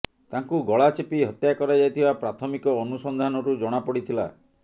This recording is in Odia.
ତାଙ୍କୁ ଗଳା ଚିପି ହତ୍ୟା କରାଯାଇଥିବା ପ୍ରାଥମିକ ଅନୁସନ୍ଧାନରୁ ଜଣା ପଡିଥିଲା